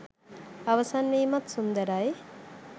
අවසන් වීමත් සුන්දරයි.